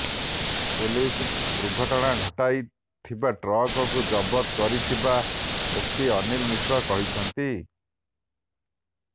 police ଦୁର୍ଘଟଣା ଘଟାଇଥିବା ଟ୍ରକ୍କୁ ଜବତ କରିଥିବା ଏସିପି ଅନିଲ ମିଶ୍ର କହିଛନ୍ତି